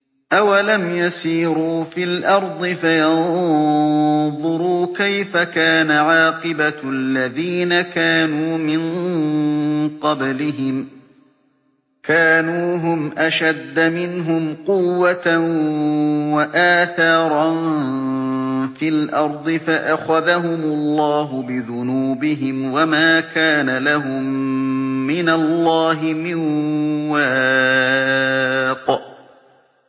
۞ أَوَلَمْ يَسِيرُوا فِي الْأَرْضِ فَيَنظُرُوا كَيْفَ كَانَ عَاقِبَةُ الَّذِينَ كَانُوا مِن قَبْلِهِمْ ۚ كَانُوا هُمْ أَشَدَّ مِنْهُمْ قُوَّةً وَآثَارًا فِي الْأَرْضِ فَأَخَذَهُمُ اللَّهُ بِذُنُوبِهِمْ وَمَا كَانَ لَهُم مِّنَ اللَّهِ مِن وَاقٍ